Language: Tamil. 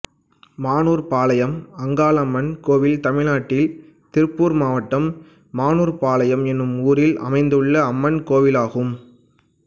மானூர்பாளையம் அங்காளம்மன் கோயில் தமிழ்நாட்டில் திருப்பூர் மாவட்டம் மானூர்பாளையம் என்னும் ஊரில் அமைந்துள்ள அம்மன் கோயிலாகும்